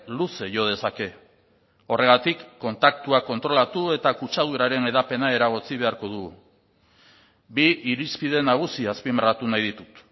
luze jo dezake horregatik kontaktuak kontrolatu eta kutxaduraren hedapena eragotzi beharko dugu bi irizpide nagusi azpimarratu nahi ditut